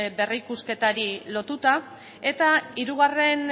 berrikusketari lotuta eta hirugarren